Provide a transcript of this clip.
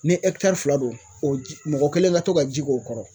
Ni fila don o ji , mɔgɔ kelen ka to ka ji k'o kɔrɔ